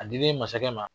A dilen masakɛ ma